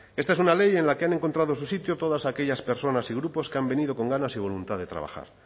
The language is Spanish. esta es una ley en la que han encontrado su sitio todas aquellas personas y grupos que han venido con ganas y voluntad de trabajar